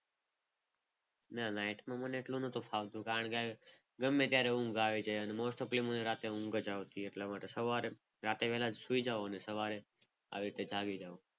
નાના નાઇટમાં મને એટલું નથી ફાવતું. કારણ કે ગમે ત્યારે ઊંઘ આવી જાય અને મોસ્ટ આપની મને રાત્રે ઊંઘ જ આવતી હોય. એટલે સવારે રાતે વેલા સુઈ જવાના સવારે આવી રીતે જાગી જાઓ.